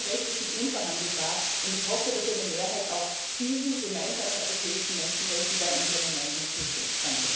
Menschenrechte sind unverhandelbar, und ich hoffe, dass eine Mehrheit auch diesen gemeinsamen europäischen Menschenrechten bei unserem Änderungsantrag zustimmt.